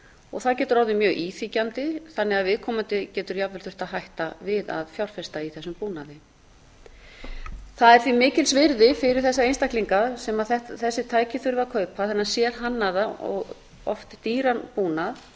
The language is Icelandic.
og það getur orðið mjög íþyngjandi þannig að viðkomandi getur jafnvel þurft að hætta við að fjárfesta í þessum búnaði það er því mikils virði fyrir þessa einstaklinga sem þessi tæki þurfa að kaupa þennan sérhannaða og oft dýran búnað